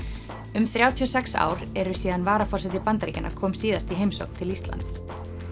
um þrjátíu og sex ár eru síðan varaforseti Bandaríkjanna kom síðast í heimsókn til Íslands